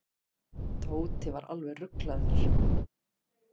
Tóti var alveg ruglaður.